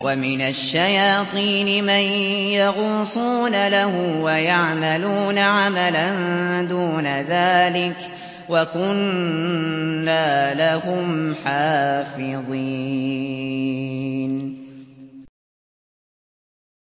وَمِنَ الشَّيَاطِينِ مَن يَغُوصُونَ لَهُ وَيَعْمَلُونَ عَمَلًا دُونَ ذَٰلِكَ ۖ وَكُنَّا لَهُمْ حَافِظِينَ